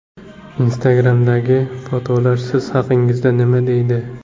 Instagram’dagi fotolar siz haqingizda nima deydi?.